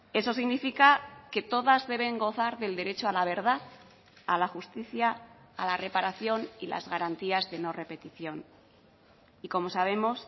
eso significa que todas deben gozar del derecho a la verdad a la justicia a la reparación y las garantías de no repetición y como sabemos